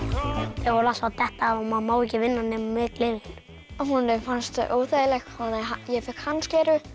þau voru alltaf að detta af og maður má ekki vinna nema með gleraugum honum fannst þau óþægileg ég fékk hans gleraugu